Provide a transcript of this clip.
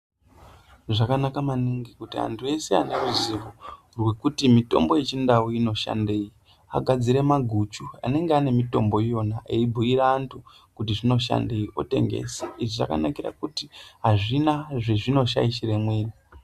Zvakanaka maningi kuti antu ese ane ruzivo rwekuti mitombo yeChiNdau inoshandei, agadzire maguchu anenge ane mitombo iyona eyibhuyira antu kuti zvinoshandei, otengesa. Izvi zvakanakira kuti hazvina zvezvinoshaishire mwiri.